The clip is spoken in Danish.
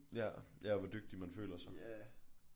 Ja ja og hvor dygtig man føler sig